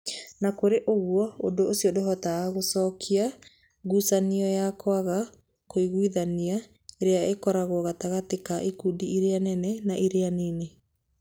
O na kũrĩ ũguo, ũndũ ũcio ndũhotaga gũcokia ngucanio ya kwaga kũiguithania ĩrĩa ĩkoragwo gatagatĩ ka ikundi iria nene na iria nini.